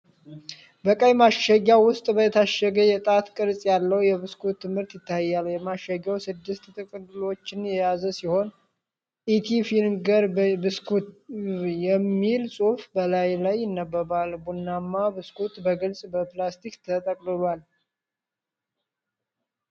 በቀይ ማሸጊያ ውስጥ የታሸገ የጣት ቅርጽ ያለው የብስኩት ምርት ይታያል። ማሸጊያው ስድስት ጥቅሎችን የያዘ ሲሆን፣ “ኢቲ ፊንገር ቢስኩቪ” የሚል ጽሑፍ በላዩ ላይ ይነበባል። ቡናማው ብስኩት በግልጽ በፕላስቲክ ተጠቅልሏል።